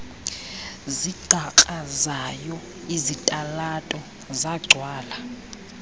zigqakrazayo izitalato zagcwala